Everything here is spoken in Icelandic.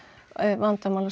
vandamálið